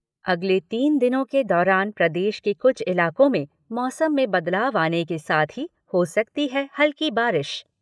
अगले तीन दिनों के दौरान प्रदेश के कुछ इलाकों में मौसम में बदलाव आने के साथ ही, हो सकती है हल्की बारिश